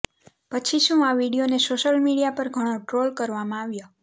પછી શું આ વીડિયોને સોશિયલ મીડિયા પર ઘણો ટ્રોલ કરવામાં આવ્યો